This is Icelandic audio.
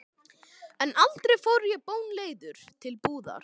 En aldrei fór ég bónleiður til búðar.